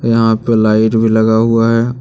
यहां पर लाइट भी लगा हुआ है।